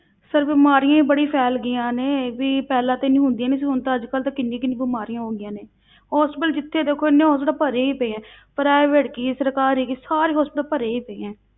Sir ਬਿਮਾਰੀਆਂ ਹੀ ਬੜੀ ਫੈਲ ਗਈਆਂ ਨੇ, ਵੀ ਪਹਿਲਾਂ ਤੇ ਇੰਨੀ ਹੁੰਦੀਆਂ ਨਹੀਂ ਸੀ, ਹੁਣ ਤਾਂ ਅੱਜ ਕੱਲ੍ਹ ਤਾਂ ਕਿੰਨੀ ਕਿੰਨੀ ਬਿਮਾਰੀਆਂ ਹੋ ਗਈਆਂ ਨੇ hospital ਜਿੱਥੇ ਦੇਖੋ ਇੰਨੇ hospital ਤਾਂ ਭਰੇ ਹੀ ਪਏ ਹੈ private ਕੀ ਸਰਕਾਰੀ ਕੀ ਸਾਰੇ hospital ਭਰੇ ਹੀ ਪਏ ਹੈ।